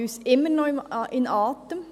Dies hält uns immer noch in Atem.